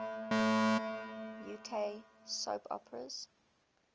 uk soap operas